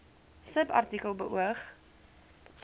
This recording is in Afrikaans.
subartikel beoog